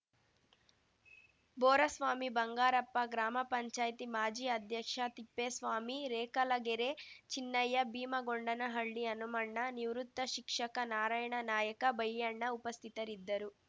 ಬೋರಸ್ವಾಮಿಬಂಗಾರಪ್ಪ ಗ್ರಾಮ ಪಂಚಾಯ್ತಿ ಮಾಜಿ ಅಧ್ಯಕ್ಷ ತಿಪ್ಪೇಸ್ವಾಮಿ ರೇಖಲಗೆರೆ ಚಿನ್ನಯ್ಯ ಭೀಮಗೊಂಡನಹಳ್ಳಿ ಹನುಮಣ್ಣ ನಿವೃತ್ತ ಶಿಕ್ಷಕ ನಾರಾಯಣ ನಾಯಕ ಬೈಯಣ್ಣ ಉಪಸ್ಥಿತರಿದ್ದರು